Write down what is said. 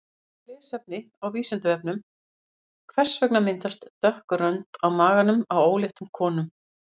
Frekara lesefni á Vísindavefnum: Hvers vegna myndast dökk rönd á maganum á óléttum konum?